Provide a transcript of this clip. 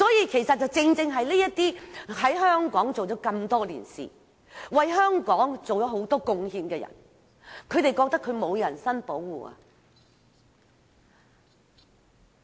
其實正正顯示這些在香港工作多年、為香港作出很多貢獻的人覺得得不到人身保障。